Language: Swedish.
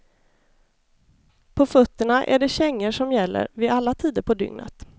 På fötterna är det kängor som gäller vid alla tider på dygnet.